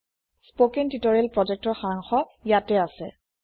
spoken tutorial projectৰ সাৰাংশ ইয়াতে আছে